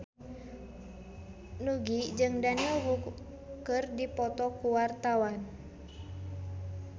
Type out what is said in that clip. Nugie jeung Daniel Wu keur dipoto ku wartawan